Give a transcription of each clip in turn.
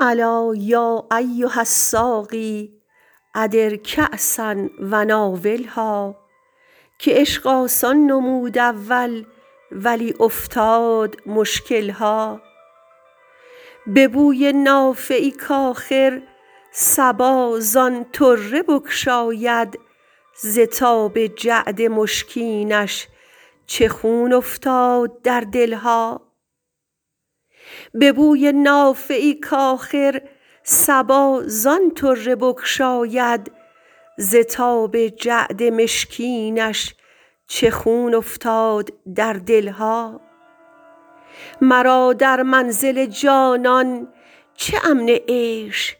الا یا ایها الساقی ادر کأسا و ناولها که عشق آسان نمود اول ولی افتاد مشکل ها به بوی نافه ای کآخر صبا زان طره بگشاید ز تاب جعد مشکینش چه خون افتاد در دل ها مرا در منزل جانان چه امن عیش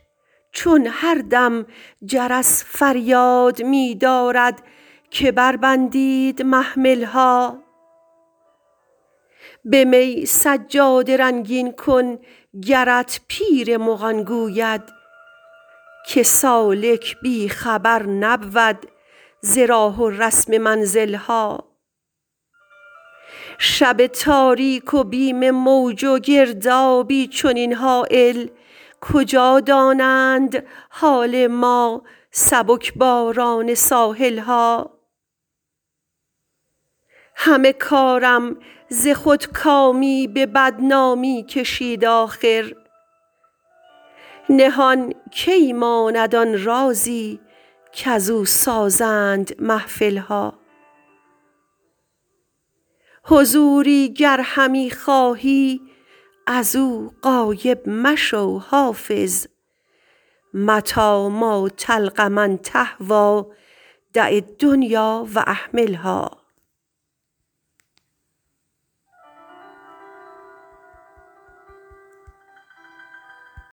چون هر دم جرس فریاد می دارد که بربندید محمل ها به می سجاده رنگین کن گرت پیر مغان گوید که سالک بی خبر نبود ز راه و رسم منزل ها شب تاریک و بیم موج و گردابی چنین هایل کجا دانند حال ما سبک باران ساحل ها همه کارم ز خودکامی به بدنامی کشید آخر نهان کی ماند آن رازی کزو سازند محفل ها حضوری گر همی خواهی از او غایب مشو حافظ متیٰ ما تلق من تهویٰ دع الدنیا و اهملها